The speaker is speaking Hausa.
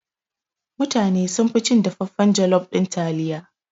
Mutane sunfi cin dafaffan jalof ɗin taliya.